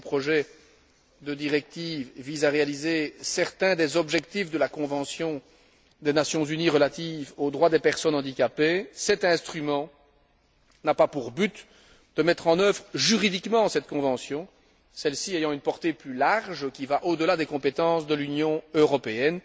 Si le projet de directive vise à réaliser certains des objectifs de la convention des Nations unies relative aux droits des personnes handicapées, cet instrument n'a pas pour but de mettre en œuvre juridiquement cette convention, celle ci ayant une portée plus large qui va au delà des compétences de l'Union européenne.